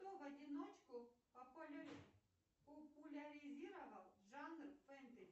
кто в одиночку популяризировал жанр фэнтези